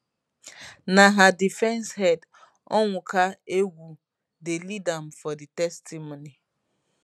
na her defence head onwuka egwu dey lead am for di testimony